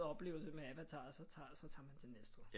Oplevelse med Avatar så tager man til Næstved